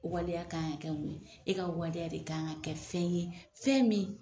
O waleya ka kan ka kɛ mun ye, e ka waleya de ka kan ka kɛ fɛn ye fɛn min.